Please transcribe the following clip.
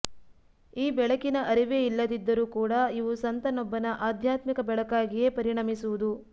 ಈ ಬೆಳಕಿನ ಅರಿವೇ ಇಲ್ಲದಿದ್ದರೂ ಕೂಡ ಇವು ಸಂತನೊಬ್ಬನ ಅಧ್ಯಾತ್ಮಿಕ ಬೆಳಕಾಗಿಯೇ ಪರಿಣಮಿಸುವುದು